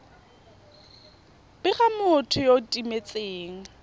bega motho yo o timetseng